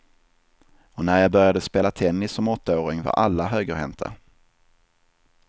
Och när jag började spela tennis som åttaåring var alla högerhänta.